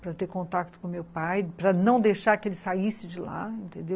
para ter contato com meu pai, para não deixar que ele saísse de lá, entendeu?